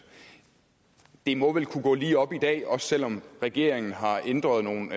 det må vel kunne gå lige op i dag også selv om regeringen har ændret nogle